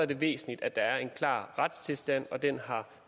det væsentligt at der er en klar retstilstand og den har